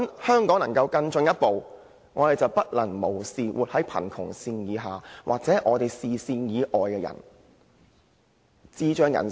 香港如果要更進一步，便不能夠對生活在貧窮線以下或視線以外的人視若無睹。